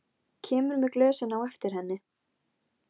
Að baki þér tveir menn sem glápa.